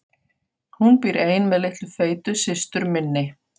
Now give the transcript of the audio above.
Hún býr ein með litlu feitu systur minni.